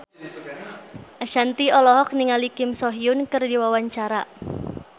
Ashanti olohok ningali Kim So Hyun keur diwawancara